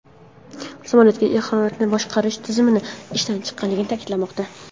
Samolyotda haroratni boshqarish tizimi ishdan chiqqanligi ta’kidlanmoqda.